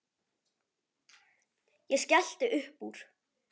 Ég skellti uppúr.